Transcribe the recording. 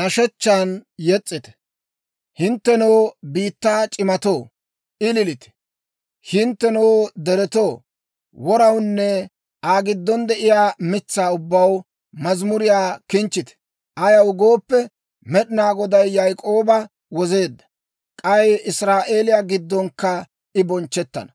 nashshechchan yes's'ite. Hinttenoo biittaa c'iimmatoo, ililite. Hinttenoo deretoo, worawunne Aa giddon de'iyaa mitsaa ubbaw, mazimuriyaa kinchchite. Ayaw gooppe, Med'inaa Goday Yaak'ooba wozeedda; k'ay Israa'eeliyaa giddonkka I bonchchettana.